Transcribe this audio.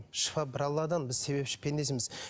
шифа бір алладан біз себепші пендесіміз